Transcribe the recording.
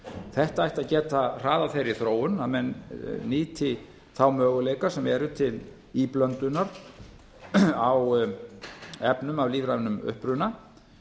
þetta ætti að geta hraðað þeirri þróun að menn nýti þá möguleika sem eru til íblöndunar á efnum af lífrænum uppruna